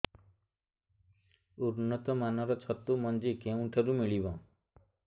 ଉନ୍ନତ ମାନର ଛତୁ ମଞ୍ଜି କେଉଁ ଠାରୁ ମିଳିବ